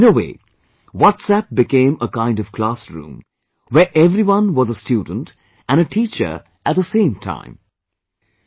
So, in a way WhatsApp became a kind of classroom, where everyone was a student and a teacher at the same time